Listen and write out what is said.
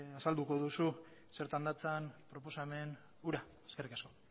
azalduko duzu zertan datzan proposamen hura eskerrik asko